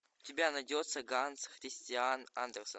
у тебя найдется ганс христиан андерсен